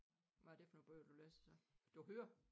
Hvad er det for nogle bøger du læser så? Du hører